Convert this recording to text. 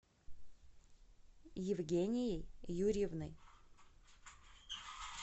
евгенией юрьевной